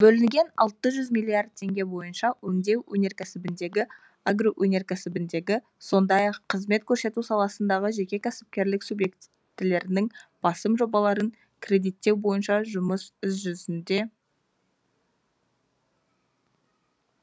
бөлінген алты жүз миллиард теңге бойынша өңдеу өнеркәсібіндегі агроөнеркәсібіндегі сондай ақ қызмет көрсету саласындағы жеке кәсіпкерлік субъектілерінің басым жобаларын кредиттеу бойынша жұмыс іс жүзінде